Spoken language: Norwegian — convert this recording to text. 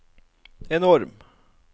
enorm